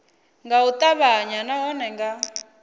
nga u ṱavhanya nahone nga